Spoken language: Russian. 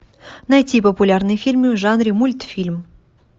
найти популярные фильмы в жанре мультфильм